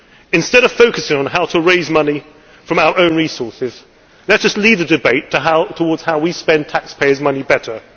Instead of focusing on how to raise money from our own resources, let us lead a debate towards how we spend taxpayers' money better.